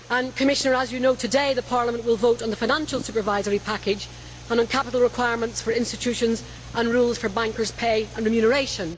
Commissioner, as you know, today, Parliament will vote on the financial supervisory package and on capital requirements for institutions and rules for bankers' pay and remuneration.